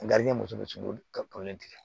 muso bɛ sogo ka kolon tigɛ